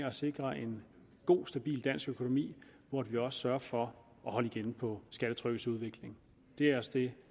at sikre en god stabil dansk økonomi hvor vi også sørger for at holde igen på skattetrykkets udvikling det er også det